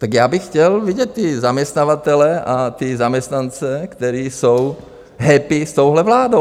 Tak já bych chtěl vidět ty zaměstnavatele a ty zaměstnance, kteří jsou happy s touhle vládou.